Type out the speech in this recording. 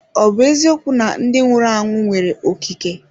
Ọ bụ eziokwu na ndị nwụrụ anwụ nwere ikike?